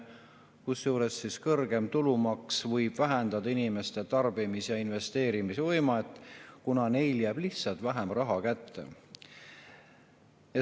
Kusjuures, kõrgem tulumaks võib vähendada inimeste tarbimis‑ ja investeerimisvõimet, kuna neil jääb lihtsalt vähem raha kätte.